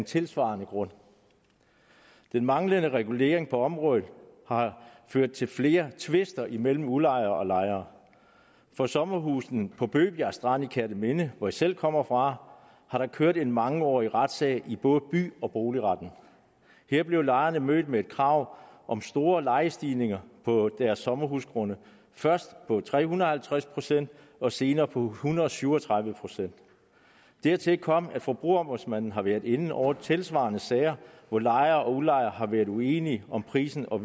tilsvarende grund den manglende regulering på området har ført til flere tvister mellem udlejere og lejere for sommerhusene på bøgebjerg strand i kerteminde hvor jeg selv kommer fra har der kørt en mangeårig retssag i både by og boligretten her blev lejerne mødt med et krav om store lejestigninger på deres sommerhusgrunde først på tre hundrede og halvtreds procent og senere på en hundrede og syv og tredive procent dertil kommer at forbrugerombudsmanden har været inde over tilsvarende sager hvor lejer og udlejer har været uenige om prisen og